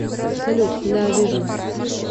салют да вижу